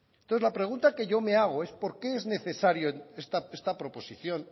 entonces la pregunta que yo me hago es por qué es necesario esta proposición